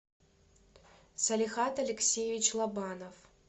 салихад алексеевич лобанов